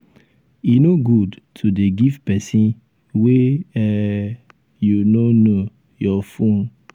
e no good to dey um give person um wey um you no know your phone.